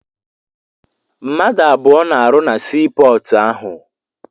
Mmadụ abụọ na-arụ na sii pọọtụ ahụ.